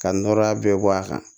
Ka nɔrɔla bɛɛ bɔ a kan